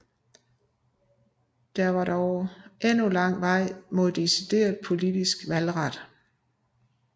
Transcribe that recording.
Der var dog endnu lang vej mod decideret politisk valgret